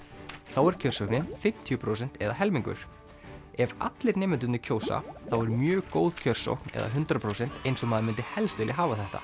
þá er kjörsóknin fimmtíu prósent eða helmingur ef allir nemendurnir kjósa þá er mjög góð kjörsókn eða hundrað prósent eins og maður myndi helst vilja hafa þetta